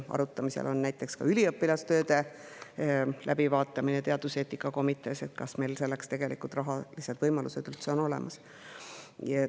Arutamisel on ka näiteks üliõpilastööde läbivaatamine teaduseetika komitees – kas meil on selleks tegelikult rahalised võimalused üldse olemas?